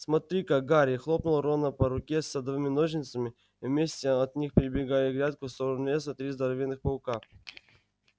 смотри-ка гарри хлопнул рона по руке садовыми ножницами в метре от них перебегали грядку в сторону леса три здоровенных паука